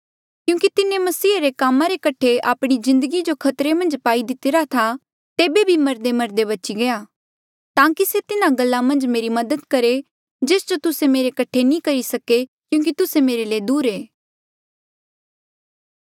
क्यूंकि तिन्हें मसीह रे कामा रे कठे आपणे जिन्दगी जो खतरे मन्झ पाई दितिरा था तेबे भी मरदेमरदे बची गया ताकि से तिन्हा गल्ला मन्झ मेरी मदद करहे जेस जो तुस्से मेरे कठे नी करी सके क्यूंकि तुस्से मेरे ले दूर ऐें